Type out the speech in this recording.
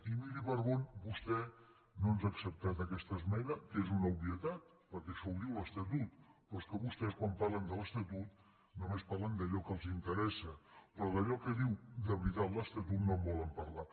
i miri per on vostè no ens ha acceptat aquesta esmena que és una obvietat perquè això ho diu l’estatut però és que vostès quan parlen de l’estatut només parlen d’allò que els interessa però d’allò que diu de veritat l’estatut no en volen parlar